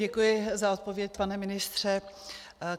Děkuji za odpověď, pane ministře.